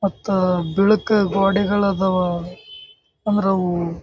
ಹತ್ತು ಬಿಳುಕು ಗೋಡೆಗಳು ಇದಾವ ಅಂದ್ರೆ ಅವು--